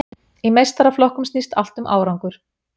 Í meistaraflokkum snýst allt um árangur.